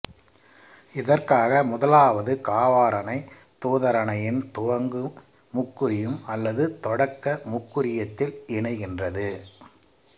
இதற்காக முதலாவது காவாறனை தூதாறனையின் துவங்கு முக்குறியம் அல்லது தொடக்க முக்குறியத்தில் இணைகின்றது